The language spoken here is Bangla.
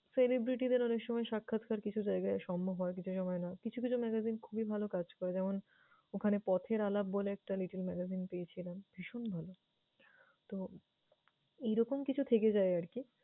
celebrity দের অনেক সময় সাক্ষাৎকার কিছু জায়গায় সম্ভব হয়, কিছু হয় না। কিছু কিছু magazine খুবই ভালো কাজ করে, যেমন ওখানে পথের আলাপ বলে একটা little magazine পেয়েছিলাম, ভীষণ ভাল। তো, এইরকম কিছু থেকে যায় আরকি।